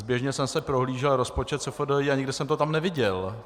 Zběžně jsem si prohlížel rozpočet SFDI a nikde jsem to tam neviděl.